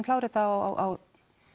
klára þetta á